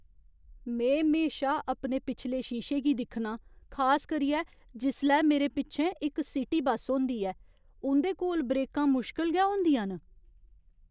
में म्हेशा अपने पिछले शीशे गी दिक्खनां, खास करियै जिसलै मेरे पिच्छें इक सिटी बस्स होंदी ऐ। उं'दे कोल ब्रेकां मुश्कल गै होंदियां न।